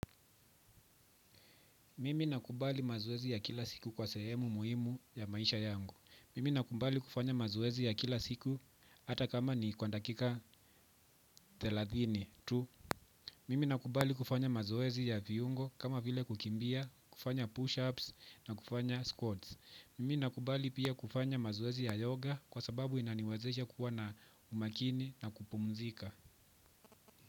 Mimi nakubali mazoezi ya kila siku kwa sehemu muhimu ya maisha yangu. Mimi nakubali kufanya mazoezi ya kila siku. Hata kama ni kwa dakika thelathini tu. Mimi nakubali kufanya mazoezi ya viungo kama vile kukimbia kufanya push ups na kufanya squats. Mimi nakubali pia kufanya mazoezi ya yoga kwa sababu inaniwezesha kuwa na umakini na kupumzika.